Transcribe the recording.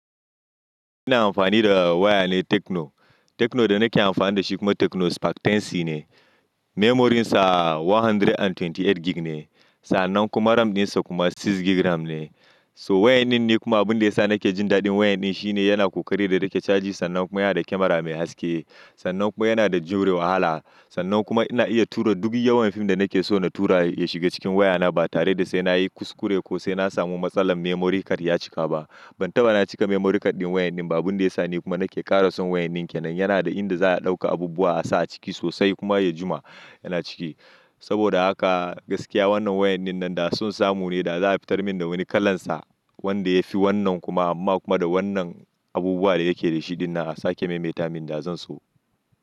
Ni na amfani da waya ne Techno. Techno da nake amfani da shi kuma Techno Spark 10c ne. Memoryn sa one hundred and twenty eight gig ne. Sannan kuma RAM ɗinsa kuma six gig ram ne. So wayanin ne kuma abin da ya sa nake jin daɗin wayanin shine yana ƙoƙari da yake caji sannan kuma yana da kamara mai haske. Sannan kuma yana da juriya wahala. Sannan kuma ina iya tura duk yawan fim da nake so na tura ya shiga cikin wayana ba tare da sai na yi kuskure ko sai na samu matsalar memory card ya cika ba. Ban taɓa na cika memory card ɗin waya ɗin ba. Abin da ya sa ni kuma nake ƙara son wayanin ke nan yana da inda za a ɗauka abubuwa a sa a ciki sosai kuma ya jima yana ciki. Saboda haka gaskiya wannan wayanin nan da son samu ne da za a fitar min da wani kalansa wanda ya fi wannan kuma amma kuma da wannan abubuwa da yake da shi ɗin na a sake maimaita min da zan so.